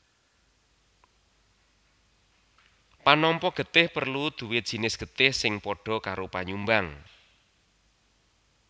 Panampa getih perlu duwé jinis getih sing padha karo panyumbang